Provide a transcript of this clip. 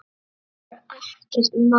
Og það var ekkert mál.